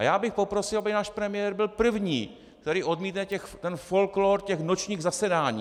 A já bych poprosil, aby náš premiér byl první, který odmítne ten folklór těch nočních zasedání.